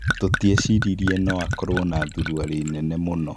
"Tũtiaciririe no akorwo na thuruware nene mũno".